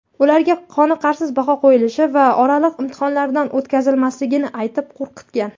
ularga qoniqarsiz baho qo‘yilishi va oraliq imtihonlardan o‘tkazilmasligini aytib qo‘rqitgan.